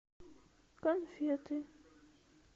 конфеты